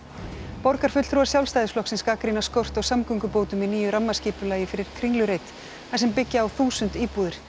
borgarfulltrúar Sjálfstæðisflokksins gagnrýna skort á samgöngubótum í nýju rammaskipulagi fyrir Kringlureit þar sem byggja á þúsund íbúðir